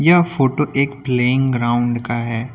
यह फोटो एक playing ground का है।